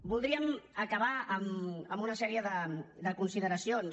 voldríem acabar amb una sèrie de consideracions